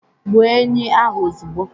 Gbuo enyí ahụ ozugbo